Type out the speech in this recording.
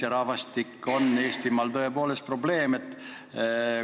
Ja rahvastiku vähesus on Eestimaal tõepoolest probleem.